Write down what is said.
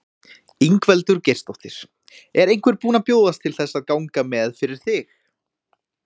Ingveldur Geirsdóttir: Er einhver búin að bjóðast til þess að ganga með fyrir þig?